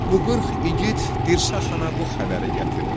Bu qırx igid Dirsə xana bu xəbəri gətirdi.